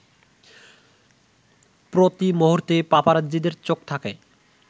প্রতিমুহূর্তে পাপারাজ্জিদের চোখ থাকে